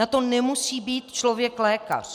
Na to nemusí být člověk lékař.